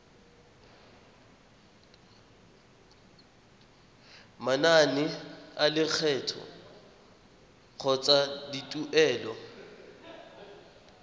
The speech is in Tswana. manane a lekgetho kgotsa dituelo